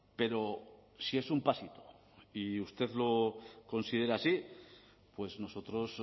pero si es un pasito y usted lo considera así pues nosotros